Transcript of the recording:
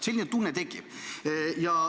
Selline tunne tekib.